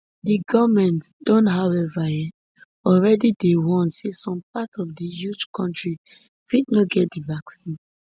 di goment don however um already dey warn say some parts of di huge kontri fit no get di vaccine